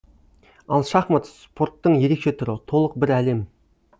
ал шахмат спорттың ерекше түрі толық бір әлем